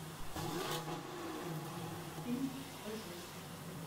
фильм большой